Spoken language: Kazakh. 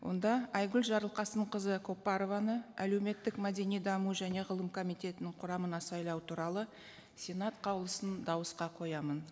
онда айгүл жарылқасынқызы көпбарованы әлеуметтік мәдени даму және ғылым комитетінің құрамына сайлау туралы сенат қаулысын дауысқа қоямын